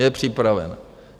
Je připravena.